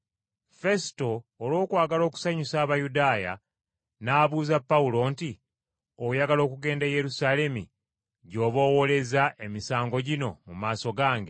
Fesuto, olw’okwagala okusanyusa Abayudaaya, n’abuuza Pawulo nti, “Oyagala okugenda e Yerusaalemi gy’oba owoleza emisango gino mu maaso gange?”